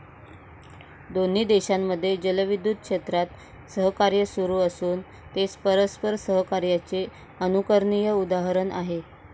दोन्ही देशांमधे जलविद्युत क्षेत्रात सहकार्य सुरु असून, ते परस्पर सहकार्याचे अनुकरणीय उदाहरण आहे.